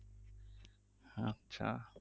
আচ্ছা